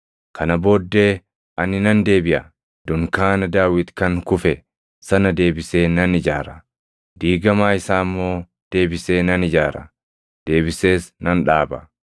“ ‘Kana booddee ani nan deebiʼa; dunkaana Daawit kan kufe sana deebisee nan ijaara; diigamaa isaa immoo deebisee nan ijaara; deebisees nan dhaaba;